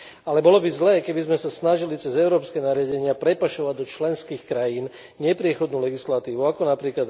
Ale bolo by zlé, keby sme sa snažili cez európske nariadenia prepašovať do členských krajín nepriechodnú legislatívu, ako napr.